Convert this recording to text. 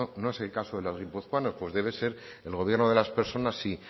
no es el caso de las guipuzcoanas pues debe ser el gobierno de las personas sí